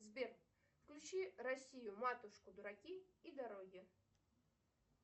сбер включи россию матушку дураки и дороги